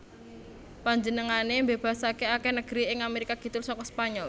Panjenengané mbébasaké akèh negeri ing Amerika Kidul saka Spanyol